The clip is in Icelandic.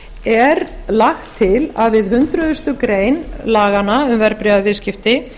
er lagt til að við hundrað greinar laganna um verðbréfaviðskipti